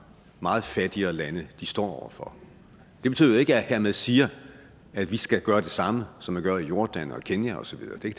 meget fattigere lande står for det betyder jo ikke at jeg hermed siger at vi skal gøre det samme som man gør i jordan og i kenya og så videre det